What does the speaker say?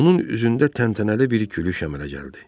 Onun üzündə təntənəli bir gülüş əmələ gəldi.